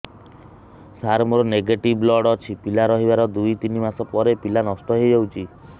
ସାର ମୋର negative blood ଅଛି ପିଲା ରହିବାର ଦୁଇ ତିନି ମାସ ପରେ ପିଲା ନଷ୍ଟ ହେଇ ଯାଉଛି